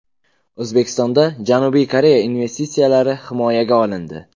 O‘zbekistonda Janubiy Koreya investitsiyalari himoyaga olindi.